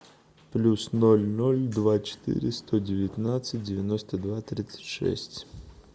плюс ноль ноль два четыре сто девятнадцать девяносто два тридцать шесть